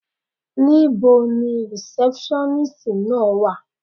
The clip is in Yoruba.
Níbo ni rìsẹ́pṣọ́nístì náà wà.